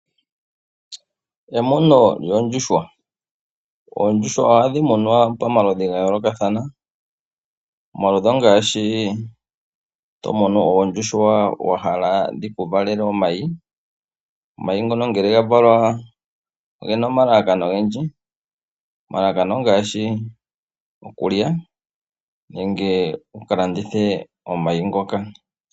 Emuno lyoondjuhwa. Oondjuhwa ohadhi munwa pamaludhi gayoolokathana . Omaludhi ongaashi tomunu oondjuhwa wahala dhiku valele omayi. Omayi ngono ngele gavalwa ogena omalalakano ogendji. Omalalakano ongaashi okulya nenge okuka landitha omayi ngoka.